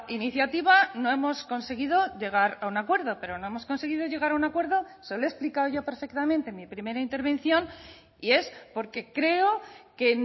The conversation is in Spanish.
iniciativa no hemos conseguido llegar a un acuerdo pero no hemos conseguido llegar a un acuerdo se lo he explicado yo perfectamente en mi primera intervención y es porque creo que